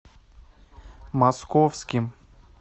московским